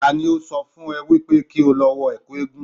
Tani ó sọ wípé kí o lọ wọ ẹ̀kú eégún